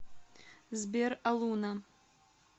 сбер алуна